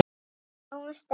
Við sjáum strax að